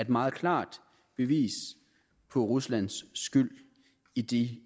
meget klart bevis på ruslands skyld i de